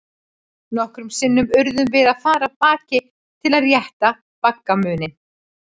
Nokkrum sinnum urðum við að fara af baki til að rétta baggamuninn.